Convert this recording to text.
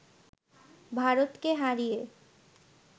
ভারতকে হারিয়ে